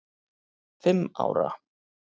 fimm ára.